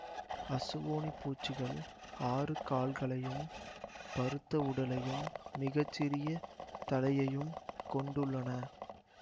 அசுவுணிப் பூச்சிகள் ஆறுகால்களையும் பருத்த உடலையும் மிக சிறிய தலையையும் கொண்டுள்ளன